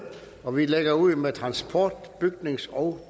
og vi lægger ud med transport bygnings og